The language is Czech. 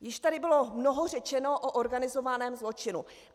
Již tady bylo mnoho řečeno o organizovaném zločinu.